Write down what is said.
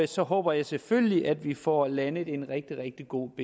så håber jeg selvfølgelig at vi får landet en rigtig rigtig god